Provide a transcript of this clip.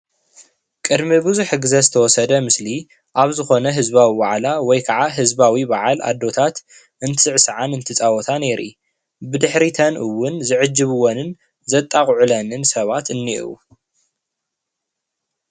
ቅድሚ ብዙሕ ግዜ ዝወሰደ ምስሊ አብ ዝኾነ ህዝባዊ ዋዕላ ወይ ከዓ ህዝባዊ በዓል ኣዶታት እንትስዕስዓን እንትጻወታን የርኢ። ብድሕሪተን እውን ዝዕጅብወንን ዘጣቕዑለንን ሰባት እኒአው።